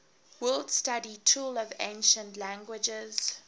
word study tool of ancient languages